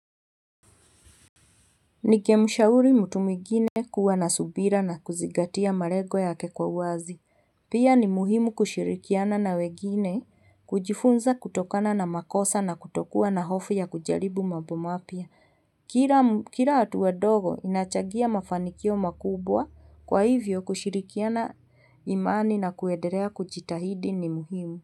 Ningemshauri mtu mwigine kuwa na subira na kuzingatia malengo yake kwa uwazi. Pia ni muhimu kushirikiana na wegine, kujifunza kutokana na makosa na kutokuwa na hofu ya kujaribu mambo mapya, kila Kila hatua ndogo inachangia mafanikio makubwa, kwa hivyo, kushirikiana imani na kuedelea kujitahidi ni muhimu.